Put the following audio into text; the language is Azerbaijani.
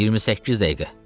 28 dəqiqə.